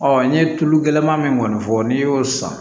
n ye tulu gɛlɛnman min kɔni fɔ n'i y'o san